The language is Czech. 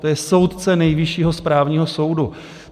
To je soudce Nejvyššího správního soudu.